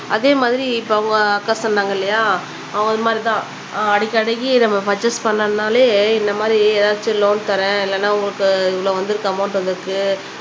அதே மாதிரி இப்ப அவங்க அக்கா சொன்னாங்க இல்லையா அவங்க இது மாதிரி தான் அடிக்குஅடிக்கு நம்ம பர்ச்சேஸ் பண்ணோம்னாலே இந்த எதாச்சும் லோன் தறேன் இல்லனா உங்களுக்கு இவ்ளோ வந்துருக்கு அமௌன்ட் வந்துருக்கு